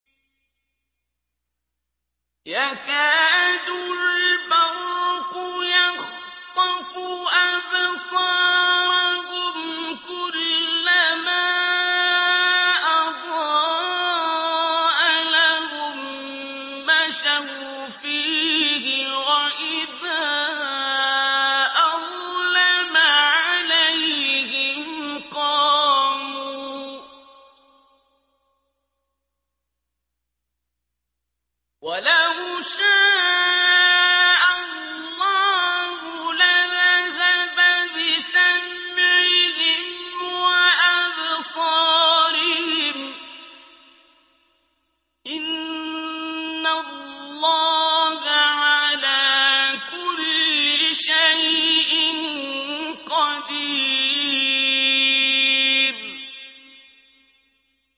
يَكَادُ الْبَرْقُ يَخْطَفُ أَبْصَارَهُمْ ۖ كُلَّمَا أَضَاءَ لَهُم مَّشَوْا فِيهِ وَإِذَا أَظْلَمَ عَلَيْهِمْ قَامُوا ۚ وَلَوْ شَاءَ اللَّهُ لَذَهَبَ بِسَمْعِهِمْ وَأَبْصَارِهِمْ ۚ إِنَّ اللَّهَ عَلَىٰ كُلِّ شَيْءٍ قَدِيرٌ